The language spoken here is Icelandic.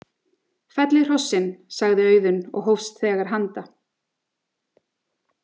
Fellið hrossin, sagði Auðunn og hófst þegar handa.